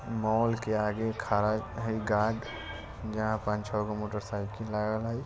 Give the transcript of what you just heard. mall के आगे खरा है गार्ड जहाँ पांच छह गो मोटरसाइकिल लागल हई